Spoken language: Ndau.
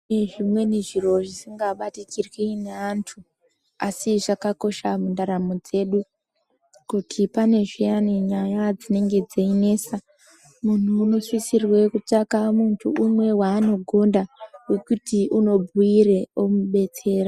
Kune zvimweni zviro zvisingabatikirwi ngeantu ,asi zvakakosha mundaramo dzedu. Kuti pane zviyani nyaya dzinenge dzeinesa, munhu unosisirwe kutsvaka muntu umwe waanogonda wekuti umubhuire omudetsera.